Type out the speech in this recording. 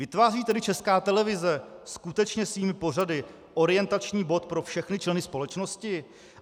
Vytváří tedy Česká televize skutečně svými pořady orientační bod pro všechny členy společnosti?